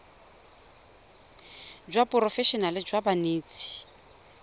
jwa seporofe enale jwa banetshi